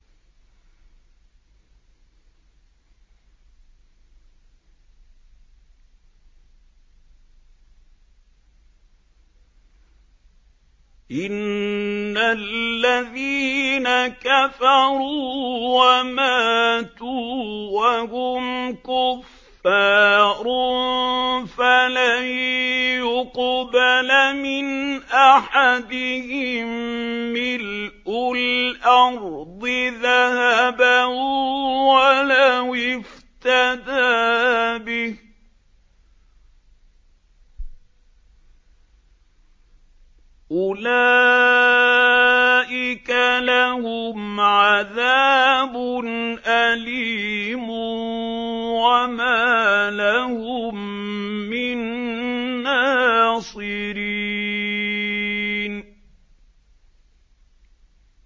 إِنَّ الَّذِينَ كَفَرُوا وَمَاتُوا وَهُمْ كُفَّارٌ فَلَن يُقْبَلَ مِنْ أَحَدِهِم مِّلْءُ الْأَرْضِ ذَهَبًا وَلَوِ افْتَدَىٰ بِهِ ۗ أُولَٰئِكَ لَهُمْ عَذَابٌ أَلِيمٌ وَمَا لَهُم مِّن نَّاصِرِينَ